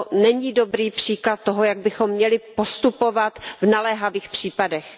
To není dobrý příklad toho, jak bychom měli postupovat v naléhavých případech.